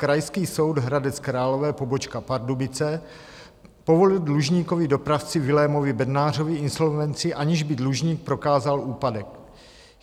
Krajský soud Hradec Králové, pobočka Pardubice, povolil dlužníkovi, dopravci Vilémovi Bednářovi, insolvenci, aniž by dlužník prokázal úpadek.